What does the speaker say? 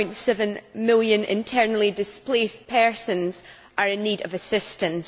2.7 million internally displaced persons are in need of assistance.